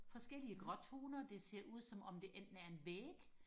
forskellige gråtoner det ser ud som om det enten er en væg